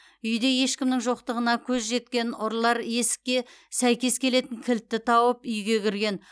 үйде ешкімнің жоқтығына көз жеткен ұрылар есікке сәйкес келетін кілтті тауып үйге кірген